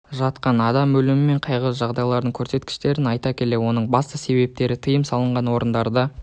жатқан адам өлімі мен қайғылы жағдайлардың көрсеткіштерін айта келе оның басты себептері тиым салынған орындарда